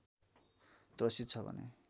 त्रसित छ भने